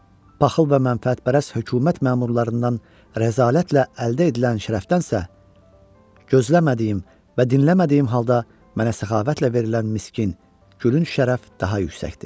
Paxıl və mənafət pərəst hökumət məmurlarından rəzalətlə əldə edilən şərəfdənsə, gözləmədiyim və dinləmədiyim halda mənə səxavətlə verilən miskin, gülünc şərəf daha yüksəkdir.